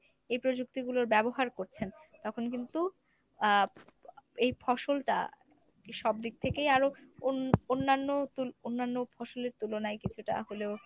এই প্রযুক্তিগুলোর ব্যবহার করছেন তখন কিন্তু আহ এই ফসলটা সবদিক থেকেই আরো অন~ অন্যান্য তু অন্যান্য ফসলের তুলনায় কিছুটা হলেও